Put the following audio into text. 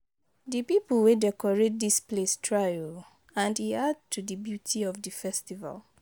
The people wey decorate dis place try oo and e add to the beauty of the festival